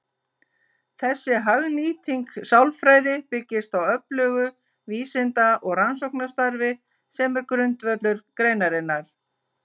Þessi hagnýting sálfræði byggist á öflugu vísinda- og rannsóknarstarfi sem er grundvöllur greinarinnar.